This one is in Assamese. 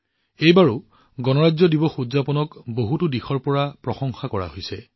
এইবাৰো গণতন্ত্ৰ দিৱস উদযাপনৰ বহুতো দিশৰ যথেষ্ট প্ৰশংসা কৰা হৈছে